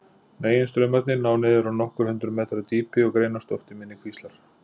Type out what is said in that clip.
Meginstraumarnir ná niður á nokkur hundruð metra dýpi og greinast oft í minni kvíslar.